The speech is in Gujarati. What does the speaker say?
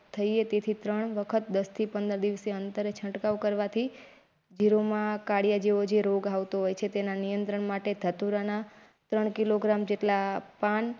થઈએ તેથી ત્રણ વખત દસ થી પંદર દીવસે અંતરે છંટકાવ કરવાથી ધીરોમાં કાર્ડિયો જેવો જે રોગ આવતો હોય છે. તેના નિયંત્રણ માટે ધતુરા ના ત્રણ કિલોગ્રામ જેટલા પાન.